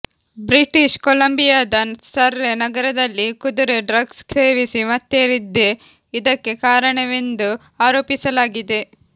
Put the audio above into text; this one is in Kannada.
ಬ್ರಿಟಿಷ್ ಕೊಲಂಬಿಯಾದ ಸರ್ರೆ ನಗರದಲ್ಲಿ ಕುದುರೆ ಡ್ರಗ್ಸ್ ಸೇವಿಸಿ ಮತ್ತೇರಿದ್ದೇ ಇದಕ್ಕೆ ಕಾರಣವೆಂದು ಆರೋಪಿಸಲಾಗಿದೆ